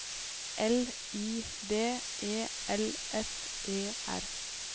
L I D E L S E R